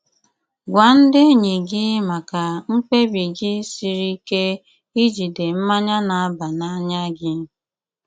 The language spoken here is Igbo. Gwá ndí enýí gị mákà mkpébi gị sírí íké íjídè mmányá ná-àbá n'ánýá gị.